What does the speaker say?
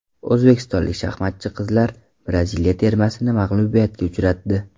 O‘zbekistonlik shaxmatchi qizlar Braziliya termasini mag‘lubiyatga uchratdi.